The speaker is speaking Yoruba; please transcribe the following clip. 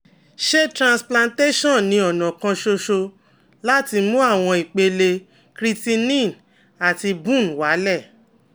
Ṣé transplantation ni ọ̀nà kan ṣoṣo láti mú àwọn ìpele creatinine àti BUN wálẹ̀?